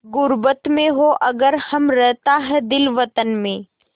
ग़ुर्बत में हों अगर हम रहता है दिल वतन में